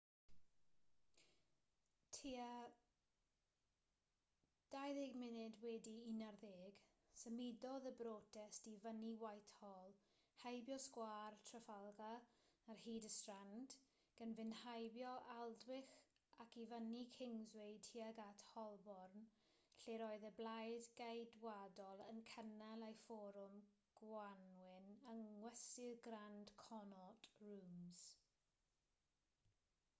tua 11:20 symudodd y brotest i fyny whitehall heibio sgwâr trafalgar ar hyd y strand gan fynd heibio aldwych ac i fyny kingsway tuag at holborn lle'r oedd y blaid geidwadol yn cynnal eu fforwm gwanwyn yng ngwesty'r grand connaught rooms